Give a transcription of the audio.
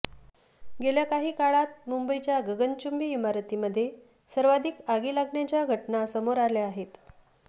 गेल्या काही काळात मुंबईच्या गगनचुंबी इमारतींमध्ये सर्वाधिक आगी लागण्याच्या घटना समोर आल्या आहेत